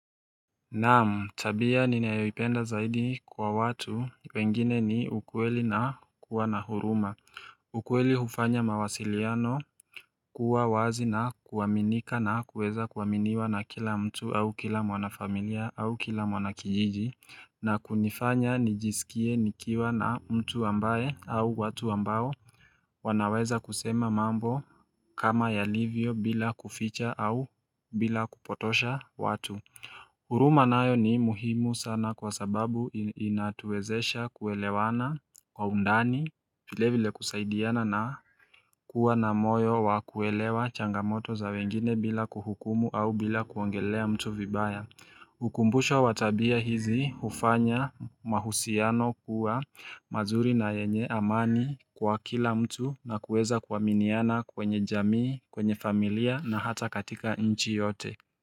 Naam, tabia ninayoipenda zaidi kwa watu wengine ni ukweli na kuwa na huruma ukweli hufanya mawasiliano kuwa wazi na kuaminika na kuweza kuaminiwa na kila mtu au kila mwana familia au kila mwana kijiji na kunifanya nijisikie nikiwa na mtu ambaye au watu ambao wanaweza kusema mambo kama yalivyo bila kuficha au bila kupotosha watu. Huruma nayo ni muhimu sana kwa sababu inatuwezesha kuelewana kwa undani. Vile vile kusaidiana na kuwa na moyo wa kuelewa changamoto za wengine bila kuhukumu au bila kuongelea mtu vibaya Hukumbusha watabia hizi hufanya mahusiano kuwa mazuri na yenye amani kwa kila mtu na kuweza kuaminiana kwenye jamii kwenye familia na hata katika nchi yote.